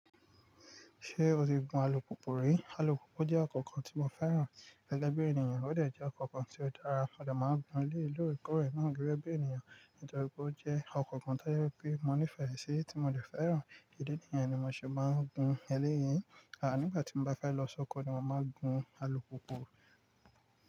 Ṣé o ti gun alùpùpù rí? Alùpùpù jẹ́ ọkọ̀ kan tí mo fẹ́ràn gẹ́gẹ́ bí ènìyàn, ó dè jẹ́ ọkọ̀ kan tí ó dára. A ò lè máa gun lé lóòókò rẹ̀ náà gẹ́gẹ́ bí ènìyàn, nítorí pé ó jẹ́ ọkọ̀ kan tí ó yẹ pé mo nífẹ̀ẹ́ sí tí mo sì fẹ́ràn. Ẹ̀dẹ̀ ènìyàn ni mo sì máa ń gun ẹlẹ́yìí. À nígbà tí mo bá fẹ́ lọ sọ́kọ̀ ni mo máa ń gun alùpùpù.